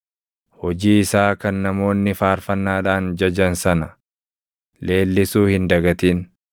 Hojii isaa kan namoonni faarfannaadhaan jajan sana, leellisuu hin dagatin.